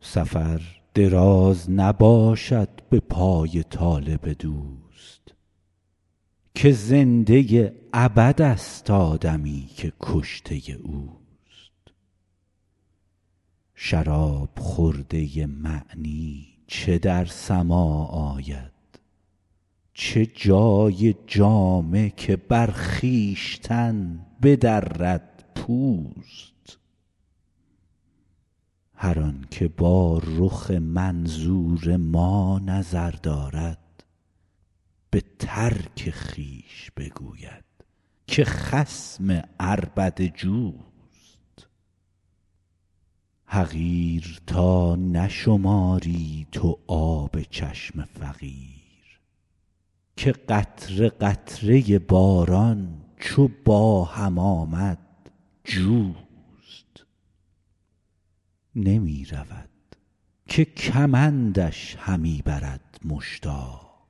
سفر دراز نباشد به پای طالب دوست که زنده ابدست آدمی که کشته اوست شراب خورده معنی چو در سماع آید چه جای جامه که بر خویشتن بدرد پوست هر آن که با رخ منظور ما نظر دارد به ترک خویش بگوید که خصم عربده جوست حقیر تا نشماری تو آب چشم فقیر که قطره قطره باران چو با هم آمد جوست نمی رود که کمندش همی برد مشتاق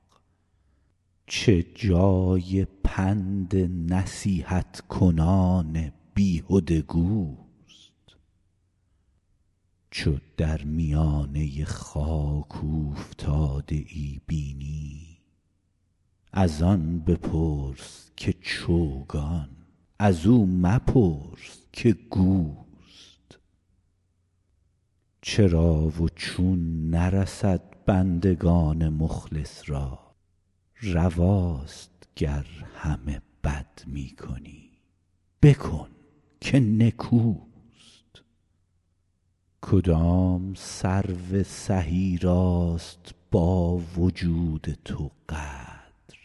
چه جای پند نصیحت کنان بیهده گوست چو در میانه خاک اوفتاده ای بینی از آن بپرس که چوگان از او مپرس که گوست چرا و چون نرسد بندگان مخلص را رواست گر همه بد می کنی بکن که نکوست کدام سرو سهی راست با وجود تو قدر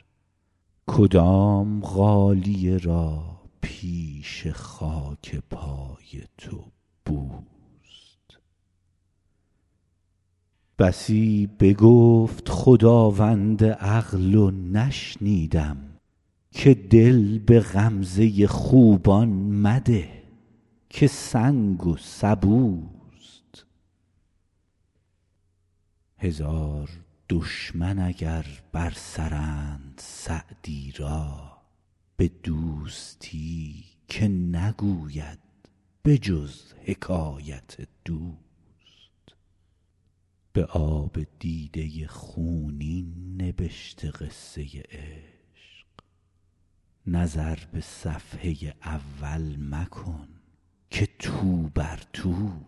کدام غالیه را پیش خاک پای تو بوست بسی بگفت خداوند عقل و نشنیدم که دل به غمزه خوبان مده که سنگ و سبوست هزار دشمن اگر بر سرند سعدی را به دوستی که نگوید به جز حکایت دوست به آب دیده خونین نبشته قصه عشق نظر به صفحه اول مکن که توبر توست